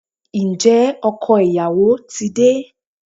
Ǹjẹ́ ọkọ ìyàwó ti de?